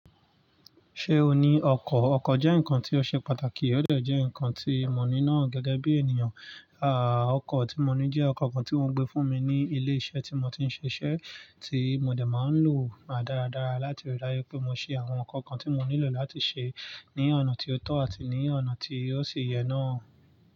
Ṣé o ní ọkọ̀? Ọkọ̀ jẹ́ nǹkan tí ó ṣe pàtàkì, ó de j́ẹ́ ǹkan tí mo ní ná gẹ́gẹ́ bí ènìyàn. Àà, ọkọ̀ tí mo ní jẹ́ ọkọ̀ kan tí wọ́n gbé fún mi ní ilé iṣẹ́ tí mo ti ń ṣiṣẹ́, tí mo de máa ń lò dáradára láti rí i dáju pé mo ṣe àwọn ǹkan kan tí mo nílò láti ṣe ní ọ̀nà tí ó tọ́ àti ní ọ̀nà tí ó sì yẹ náà.